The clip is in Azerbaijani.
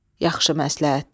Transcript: Yaxşı məsləhətdir.